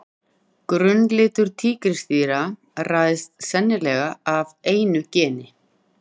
Grunnlitur tígrisdýra ræðst sennilega af einu geni.